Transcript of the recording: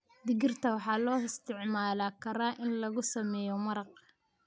Digirta waxaa loo isticmaali karaa in lagu sameeyo maraq.